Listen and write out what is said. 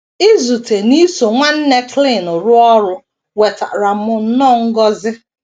Izute na iso Nwanna Klein rụọ ọrụ wetaara m nnọọ ngọzi!